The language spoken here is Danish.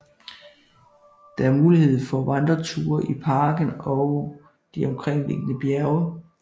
Der er mulighed for vandreture i parken og de omkringliggende bjerge